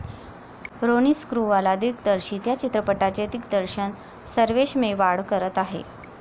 रोनी स्क्रूवाला दिग्दर्शित या चित्रपटाचे दिग्दर्शन सर्वेश मेवाड करत आहे.